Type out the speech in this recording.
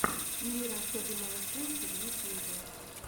мир особенного симки в ютюбе